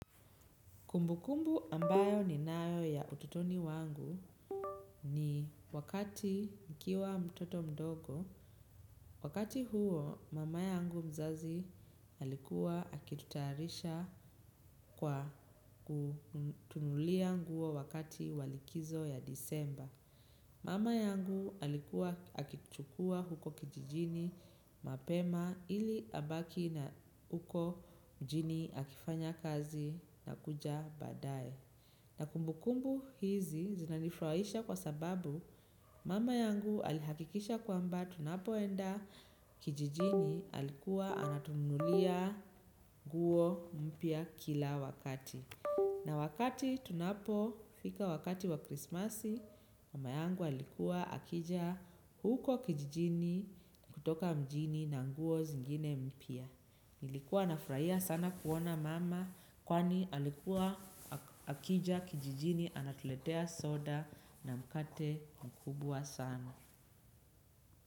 Kumbukumbu ambayo ninayo ya utotoni wangu ni wakati nikiwa mtoto mdogo, wakati huo mama yangu mzazi alikuwa akitutayarisha kwa kutununulia nguo wakati wa likizo ya disemba. Mama yangu alikuwa akituchukua huko kijijini mapema ili abaki na uko mjini akifanya kazi na kuja baadaye. Na kumbu kumbu hizi zinanifraisha kwa sababu mama yangu alihakikisha kwamba tunapoenda kijijini alikuwa anatununulia nguo mpya kila wakati. Na wakati tunapo fika wakati wa krismasi mama yangu alikuwa akija huko kijijini kutoka mjini na nguo zingine mpya. Nilikuwa nafraia sana kuona mama kwani alikuwa akija kijijini anatuletea soda na mkate mkubwa sana.